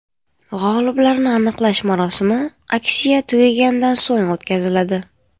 G‘oliblarni aniqlash marosimi aksiya tugagandan so‘ng o‘tkaziladi.